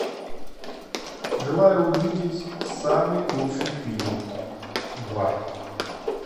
желаю увидеть самый лучший фильм два